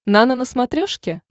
нано на смотрешке